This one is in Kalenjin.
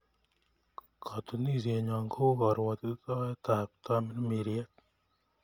Ktunisienyo ko u karuatitaet ap tamirmiriet